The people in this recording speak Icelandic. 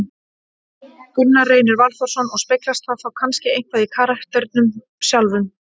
Gunnar Reynir Valþórsson: Og speglast það þá kannski eitthvað í karakternum sjálfum?